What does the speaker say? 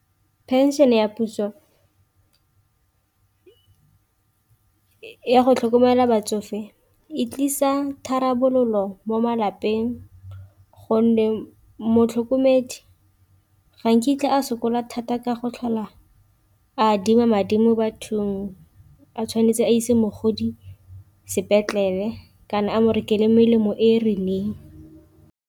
Pension ya puso ya go tlhokomela batsofe e tlisa tharabololo mo malapeng, gonne motlhokomedi ga nkitla a sokola thata ka go tlhola a adima madi mo bathong a tshwanetse a ise mogodi sepetlele kana a mo rekele melemo e e rileng.